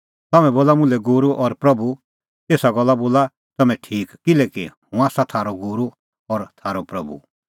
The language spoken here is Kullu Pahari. तम्हैं बोला मुल्है गूरू और प्रभू एसा गल्ला बोला तम्हैं ठीक किल्हैकि हुंह आसा थारअ गूरू और थारअ प्रभू